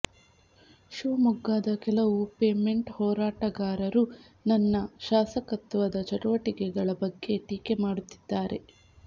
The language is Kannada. ಶಿವಮೊಗ್ಗದ ಕೆಲವು ಪೇಮೆಂಟ್ ಹೋರಾಟಗಾರರು ನನ್ನ ಶಾಸಕತ್ವದ ಚಟುವಟಿಕೆಗಳ ಬಗ್ಗೆ ಟೀಕೆ ಮಾಡುತ್ತಿದ್ದಾರೆ